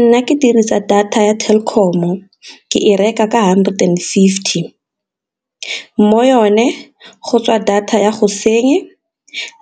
Nna ke dirisa data ya Telkom-o ke e reka ka hundred and fifty, mo yone go tswa data ya